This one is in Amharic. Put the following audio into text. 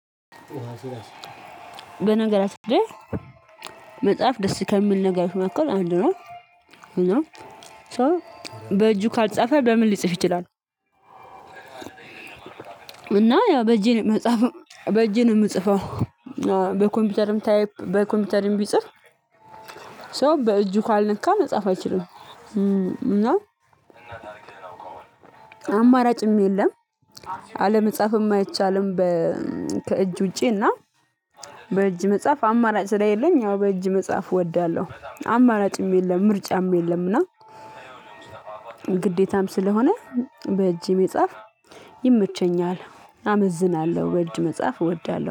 በነገራችን ላይ መጽሐፍ ደስ ከሚል ነገሮች መካከል አንዱ ነው። እና ሶ በእጁ ካልጻፈ በምን ሊጽፍ ይችላል? እና ያው በእጄ መጽሐፍ በእጄ ነው የምጽፈው። በኮምፒውተርም ታይፕ በኮምፒውተርም ቢጽፍ ሰው በእጁ ካልነካ መጻፍ አይችልም። እና አማራጭም የለም። አለመጻፍም አይቻልም። ከእጅ ውጪና በእጅ መጽሐፍ አማራጭ ስለሌለኝ አዎ በእጅ መጽሐፍ እወዳለሁ አማራጭም የለም ምርጫም የለምና። ግዴታም ስለሆነ በእጅ መጻፍ ይመቸኛል። አመዝናለሁ በእጅ መጻፍ እወዳለሁ